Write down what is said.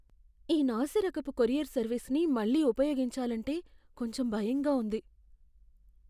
ఈ నాసిరకపు కొరియర్ సర్వీస్ని మళ్ళీ ఉపయోగించాలంటే కొంచెం భయంగా ఉంది.